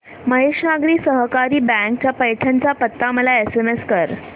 महेश नागरी सहकारी बँक चा पैठण चा पत्ता मला एसएमएस कर